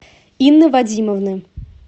инны вадимовны